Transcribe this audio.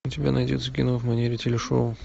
у тебя найдется кино в манере телешоу